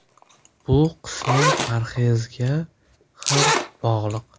Bu qisman parhezga ham bog‘liq.